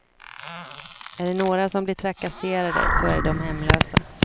Är det några som blir trakasserade så är det de hemlösa.